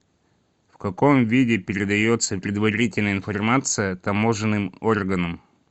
в каком виде передается предварительная информация таможенным органам